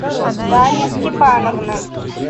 дарья степановна